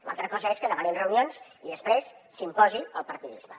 l’altra cosa és que demanin reunions i després s’imposi el partidisme